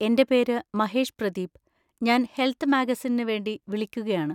എൻ്റെ പേര് മഹേഷ് പ്രതീപ്, ഞാൻ ഹെൽത്ത് മാഗസിനിന് വേണ്ടി വിളിക്കുകയാണ്.